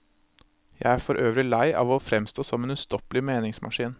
Jeg er for øvrig lei av å fremstå som en ustoppelig meningsmaskin.